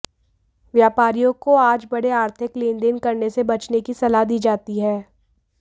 व्यापारियों को आज बड़े आर्थिक लेन देन करने से बचने की सलाह दी जाती है